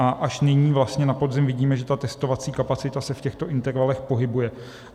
A až nyní vlastně na podzim vidíme, že ta testovací kapacita se v těchto intervalech pohybuje.